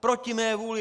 Proti mé vůli!